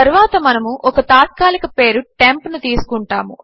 తరువాత మనము ఒక తాత్కాలిక పేరు టెంప్ ను తీసుకుంటాము